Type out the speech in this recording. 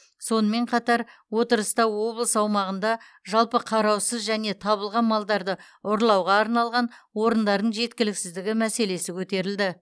сонымен қатар отырыста облыс аумағында жалпы қараусыз және табылған малдарды ұстауға арналған орындардың жеткіліксіздігі мәселесі көтерілді